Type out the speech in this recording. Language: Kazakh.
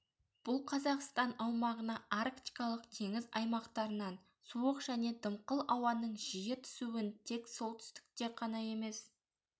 бұл қазақстан аумағына арктикалық теңіз аймақтарынан суық және дымқыл ауаның жиі түсуін тек солтүстікте қана емес